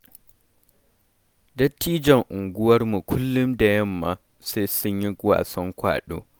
Dattijan unguwarmu kullum da yamma sai sun yi wasan ƙwado.